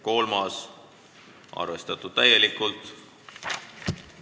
Kolmas on arvestatud täielikult.